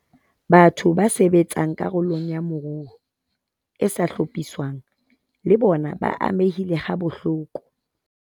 Batho ba sebetsang karolong ya moruo e sa hlophiswang le bona ba amehile habohloko.